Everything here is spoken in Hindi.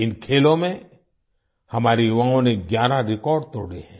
इन खेलों में हमारे युवाओं ने ग्यारह रेकॉर्ड तोड़े हैं